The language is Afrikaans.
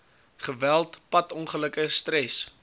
geweld padongelukke stres